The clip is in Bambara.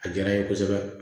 A diyara n ye kosɛbɛ